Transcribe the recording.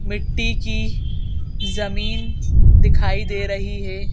मिट्टी की जमीन दिखाई दे रही है।